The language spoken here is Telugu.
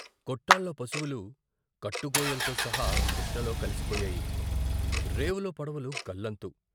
కొట్టాల్లో పశువులు కట్టుగొయ్యల్తో సహా కృష్ణలో కలిసిపోయాయి. రేవులో పడవలు గల్లంతు.